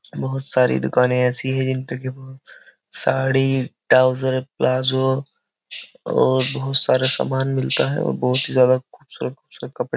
बोहोत सारी दुकानें ऐसी है जिन पे की बोहो साड़ी ट्राउजर प्लाजो और बोहोत सारा सामान मिलता है और बोहोत ही ज्यादा खूबसूरत-खूबसूरत कपड़े --